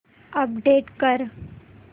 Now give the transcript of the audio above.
update कर